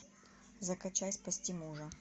закачай спасти мужа